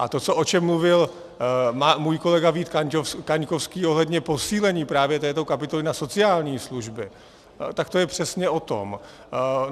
A to, o čem mluvil můj kolega Vít Kaňkovský ohledně posílení právě této kapitoly na sociální služby, tak to je přesně o tom.